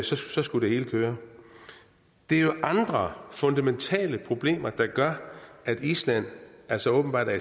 så skulle det hele køre det er jo andre fundamentale problemer der gør at island altså åbenbart er